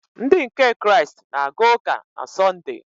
Ndị nke Kraịst na-aga ụka na Sọnde.